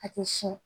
A tɛ siyɛn